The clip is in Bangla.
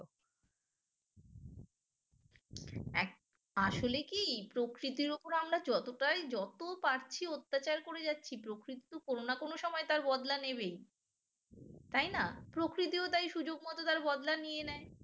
আসলে কি প্রকৃতির ওপর আমরা যতটাই যত পারছি অত্যাচার করে যাচ্ছি প্রকৃতি কোনো না কোনো সময় তার বদলা নেবেই তাই না? প্রকৃতিও তাই সুযোগ মতো তার বদলা নিয়ে নেয়